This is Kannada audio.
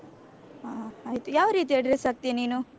ಹ ಆಯ್ತು ಯಾವ ರೀತಿಯ dress ಹಾಕ್ತೀಯ ನೀನು?